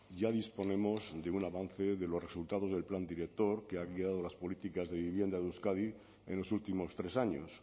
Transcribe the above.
ya disponemos de un avance de los resultados del plan director que ha guiado las políticas de vivienda de euskadi en los últimos tres años